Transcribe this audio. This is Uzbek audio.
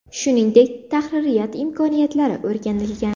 Shuningdek, tahririyat imkoniyatlari o‘rganilgan.